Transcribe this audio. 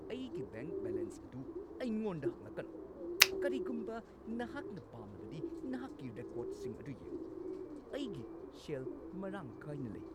ꯑꯩꯒꯤ bank balance ꯑꯗꯨ ꯑꯩꯉꯣꯟꯗ ꯍꯪꯂꯛꯀꯅꯨ꯫ ꯀꯔꯤꯒꯨꯝꯕ ꯅꯍꯥꯛꯅ ꯄꯥꯝꯂꯕꯗꯤ ꯅꯍꯥꯛꯀꯤ ꯔꯦꯀꯣꯔꯗꯁꯤꯡ ꯑꯗꯨ ꯌꯦꯡꯉꯨ꯫ ꯑꯩꯒꯤ ꯁꯦꯜ ꯃꯔꯥꯡ ꯀꯥꯏꯅ ꯂꯩ꯫